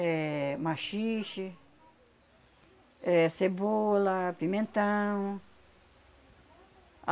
É machixe, é cebola, pimentão.